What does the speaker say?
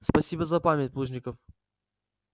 спасибо за память плужников